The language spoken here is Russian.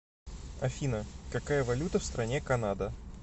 афина какая валюта в стране канада